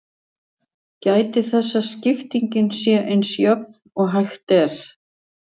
Gætið þess að skiptingin sé eins jöfn og hægt er.